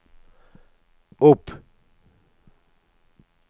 opp